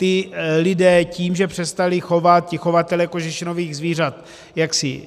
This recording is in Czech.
Ti lidé tím, že přestali chovat, ti chovatelé kožešinových zvířat, jaksi